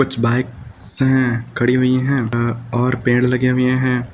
कुछ बाइक्स हैं खड़ी हुई हैं अ और पेड़ लगे हुए हैं।